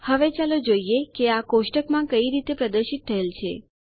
હવે ચાલો જોઈએ કે આ કોષ્ટકમાં કઈ રીતે પ્રદર્શિત થયેલ છે